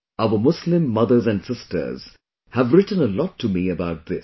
Our Muslim mothers and sisters have written a lot to me about this